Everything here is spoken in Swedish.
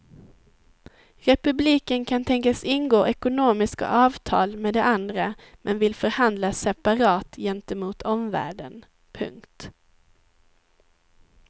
Republiken kan tänkas ingå ekonomiska avtal med de andra men vill förhandla separat gentemot omvärlden. punkt